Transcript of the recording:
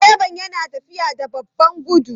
Direba yana tafiya da babban gudu?